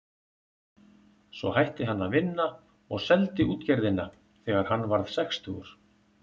Svo hætti hann að vinna og seldi útgerðina þegar hann varð sextugur.